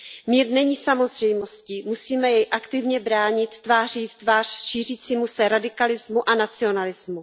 Mír není samozřejmostí, musíme jej aktivně bránit tváří v tvář šířícímu se radikalismu a nacionalismu.